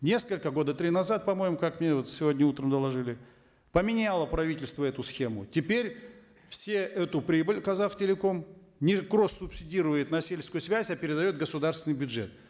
несколько года три назад по моему как мне вот сегодня утром доложили поменяло правительство эту схему теперь все эту прибыль казахтелеком нелькросс субсидирует на сельскую связь а передает в государственный бюджет